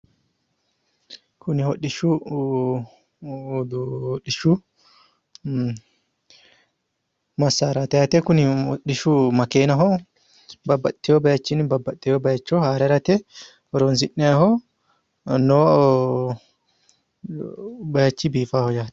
Kuni hodhishshu massaaraati yaate kuni hodhishshu makeenaho babbaxeyo bayiichinni babbaxxiteyo bayiicho haare harate horonsi'nayiiho noo bayiichi biifaaho yaate.